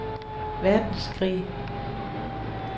verdenskrig